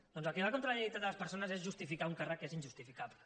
doncs el que va contra la dignitat de les persones és justificar un càrrec que és injustificable